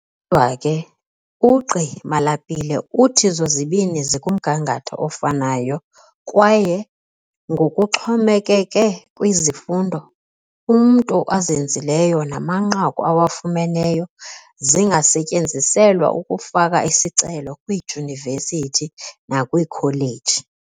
Kodwa ke, uGqi Malapile uthi zozibini zikumgangatho ofanayo kwaye, ngokuxhomekeke kwizifundo umntu azenzileyo namanqaku awafumeneyo, zingasetyenziselwa ukufaka isicelo kwiidyunivesithi nakwiikholeji.